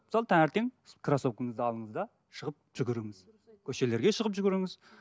мысалы таңертең кроссовкаңызды алыңыз да шығып жүгіріңіз көшелерге шығып жүгіріңіз